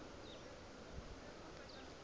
ho teng ba bang ba